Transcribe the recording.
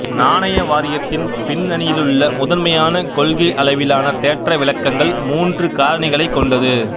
நாணய வாரியத்தின் பின்னணியிலுள்ள முதன்மையான கொள்கையளவிலான தேற்ற விளக்கங்கள் மூன்று காரணிகளைக் கொண்டது